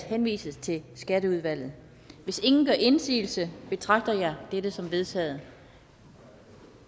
henvises til skatteudvalget hvis ingen gør indsigelse betragter jeg dette som vedtaget